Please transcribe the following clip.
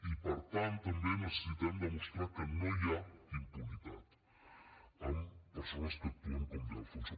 i per tant també necessitem demostrar que no hi ha impunitat amb persones que actuen com de alfonso